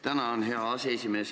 Tänan, hea aseesimees!